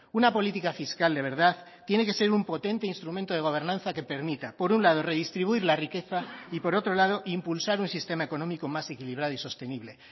una política fiscal de verdad tiene que ser un potente instrumento de gobernanza que permita por un lado redistribuir la riqueza y por otro lado impulsar un sistema económico más equilibrado y sostenible